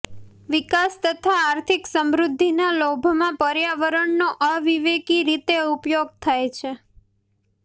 વિકાસ તથા આર્થિક સમૃઘિ્ઘના લોભમાં પર્યાવરણનો અવિવેકી રીતે ઉપયોગ થાય છે